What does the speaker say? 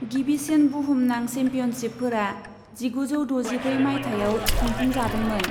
गिबिसिन बुहुमनां चेम्पियनशिपफोरा जिगुजौ द'जिब्रै मायथाइयाव खुंफुंजादोंमोन।